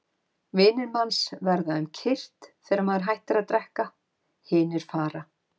Vinir manns verða um kyrrt þegar maður hættir að drekka, hinir fara.